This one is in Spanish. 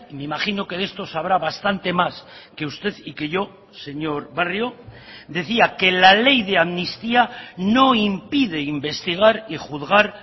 me imagino que de esto sabrá bastante más que usted y que yo señor barrio decía que la ley de amnistía no impide investigar y juzgar